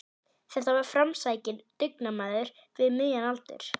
Þetta var framsækinn dugnaðarmaður við miðjan aldur.